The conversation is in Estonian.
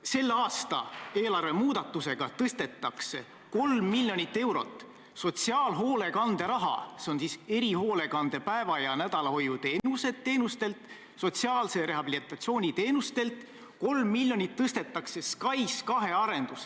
Selle aasta eelarvemuudatusega tõstetakse 3 miljonit eurot sotsiaalhoolekande raha – see on erihoolekande päeva- ja nädalahoiuteenustelt, sotsiaalse rehabilitatsiooni teenustelt – SKAIS2 arendusse.